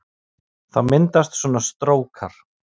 Þá myndast svona strókar